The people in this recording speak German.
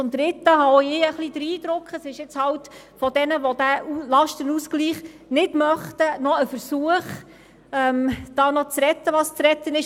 Drittens habe auch ich den Eindruck, dass die Gegner des Lastenausgleichs nochmals versuchen, aus ihrer Sicht zu retten, was noch zu retten ist.